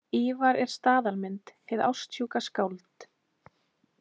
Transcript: Ívar er staðalmynd, hið ástsjúka skáld.